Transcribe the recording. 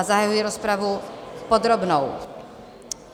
A zahajuji rozpravu podrobnou.